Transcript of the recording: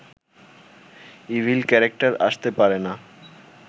evil character আসতে পারে না